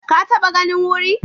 Ka taɓa ganin wuri?